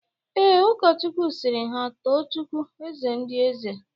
Ee, Ụkọchukwu sịrị ha tuo chukwu "eze ndị eze"